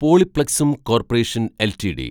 പോളിപ്ലക്സും corporation LTD